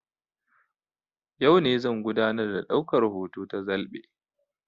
Yau no zan gudanar da daukar hoto ta zalɓe